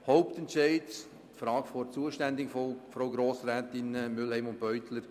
Offen ist die Frage der Zuständigkeit, wie von den Grossrätinnen Mühlheim und Beutler erwähnt.